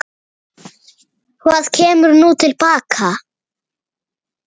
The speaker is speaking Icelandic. Hvað kemur nú til baka?